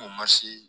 O mansi